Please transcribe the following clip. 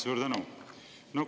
Suur tänu!